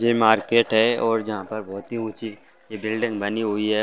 ये मार्केट है और यहाँ पर बहोत ही ऊंची बिल्डिंग बनी हुई है।